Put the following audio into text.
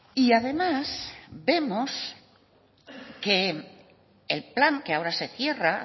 y además vemos que el plan que ahora se cierra